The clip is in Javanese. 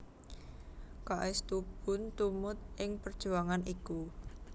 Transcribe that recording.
K S Tubun tumut ing perjuangan iku